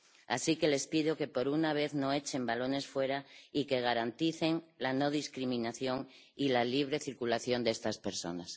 Así que les pido que, por una vez, no echen balones fuera y que garanticen la no discriminación y la libre circulación de estas personas.